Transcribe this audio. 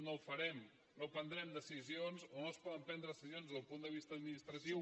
no ho farem no prendrem decisions o no es poden prendre decisions des del punt de vista administratiu